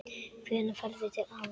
Hvenær ferðu til afa þíns?